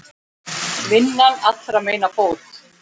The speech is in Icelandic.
Vinnan allra meina bót.